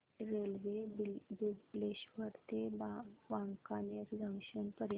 railway Bileshwar ते Wankaner junction पर्यंत